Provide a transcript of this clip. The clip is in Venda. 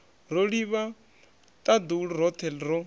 ro livha ṱaḓulu roṱhe ro